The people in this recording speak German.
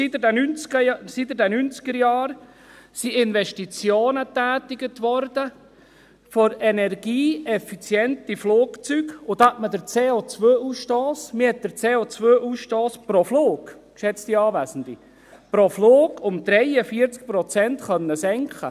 Seit den Neunzigerjahren werden Investitionen für energieeffiziente Flugzeuge getätigt, und damit konnte man den COAusstoss pro Flug, geschätzte Anwesende, – pro Flug! – um 43 Prozent senken.